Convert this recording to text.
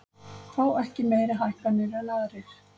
Fá ekki meiri hækkanir en aðrir